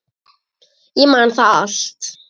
Ég man það allt.